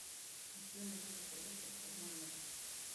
сделай вызов электрика в номер